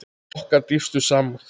Okkar dýpstu samúð.